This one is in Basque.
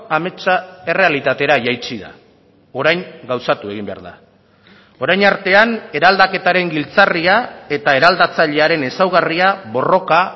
ametsa errealitatera jaitsi da orain gauzatu egin behar da orain artean eraldaketaren giltzarria eta eraldatzailearen ezaugarria borroka